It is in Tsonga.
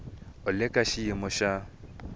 u le ka xiyimo xa